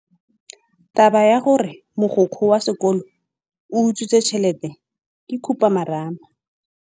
Taba ya gore mogokgo wa sekolo o utswitse tšhelete ke khupamarama.